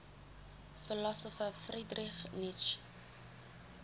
philosopher friedrich nietzsche